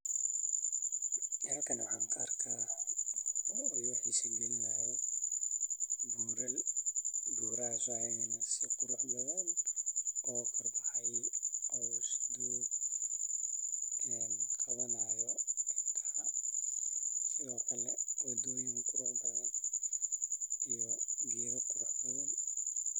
Halkan waxaan ka rakaa oo i farxad galinaayo buural oo doog ah oo qabanaayo indaha sido kale wadooyin qurux badan iyo geeda.